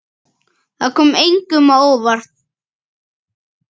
Það kom engum á óvart.